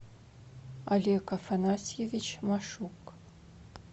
олег афанасьевич машук